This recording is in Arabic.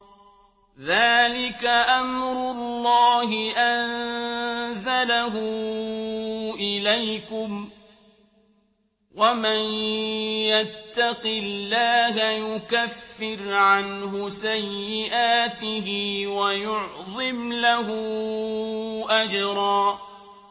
ذَٰلِكَ أَمْرُ اللَّهِ أَنزَلَهُ إِلَيْكُمْ ۚ وَمَن يَتَّقِ اللَّهَ يُكَفِّرْ عَنْهُ سَيِّئَاتِهِ وَيُعْظِمْ لَهُ أَجْرًا